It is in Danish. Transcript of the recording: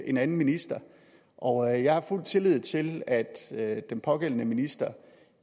en anden minister og jeg har fuld tillid til at at den pågældende minister